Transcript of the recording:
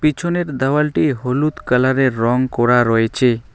পেছনের দেওয়ালটি হলুদ কালারের রং করা রয়েচে।